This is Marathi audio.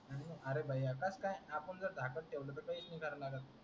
आर भाऊ त्यात काय आपण जर धाकाट ठेवल तर काहीच नाही करणार आहे तो.